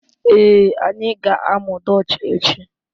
Ee, anyị ga-amụ Dutch echi